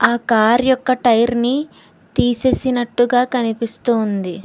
ఆ కార్ యొక్క టైర్ ని తీసేసినట్టుగా కనిపిస్తూ ఉంది.